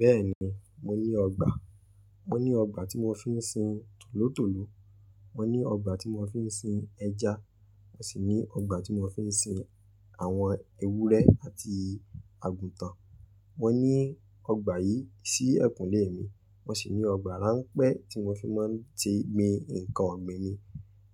Bẹ́ẹ̀ni, mo ní ọgbà. Mo ní ọgbà tí mo fi ń sin tòlótòló, mo ní ọgbà tí mo fi ń sin ẹja, mo sì ní ọgbà tí mo fi ń sin àwọn ewúrẹ́ àti àgùntàn. Mo ní ọgbà yìí sí ẹ̀kùnlé mi, mo sì ní ọgbà ránpẹ́ tí mo fi máa ń ti gbin nǹkan ọ̀gbìn mi.